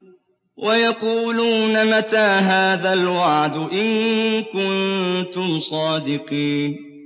وَيَقُولُونَ مَتَىٰ هَٰذَا الْوَعْدُ إِن كُنتُمْ صَادِقِينَ